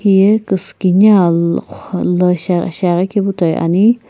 hiye kusukini a- lo qho la shiaghi kepu toi ani.